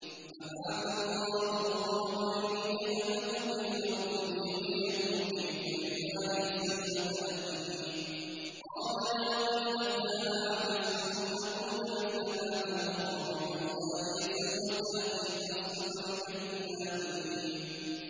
فَبَعَثَ اللَّهُ غُرَابًا يَبْحَثُ فِي الْأَرْضِ لِيُرِيَهُ كَيْفَ يُوَارِي سَوْءَةَ أَخِيهِ ۚ قَالَ يَا وَيْلَتَا أَعَجَزْتُ أَنْ أَكُونَ مِثْلَ هَٰذَا الْغُرَابِ فَأُوَارِيَ سَوْءَةَ أَخِي ۖ فَأَصْبَحَ مِنَ النَّادِمِينَ